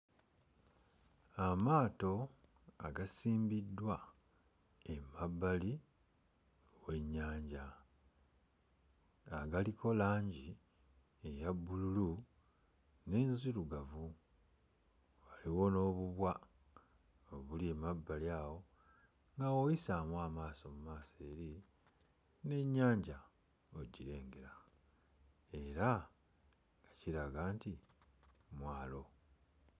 Amaato agasimbiddwa emabbali w'ennyanja nga galiko langi eya bbululu n'enzirugavu. Waliwo n'obubwa obuli emabbali awo nga bw'oyisaamu amaaso mu maaso eri n'ennyanja ogirengera era kiraga nti mwalo.